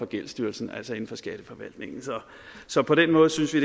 gældsstyrelsen altså inden for skatteforvaltningen så på den måde synes vi